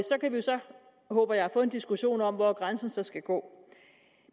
håber jeg få en diskussion om hvor grænsen skal gå